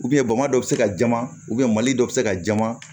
bamadɔ bɛ se ka jama mali dɔ bɛ se ka jama